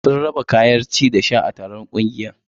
Sun raba kayan ci da sha a taron ƙungiyar.